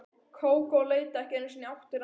Kókó leit ekki einu sinni í áttina að mér.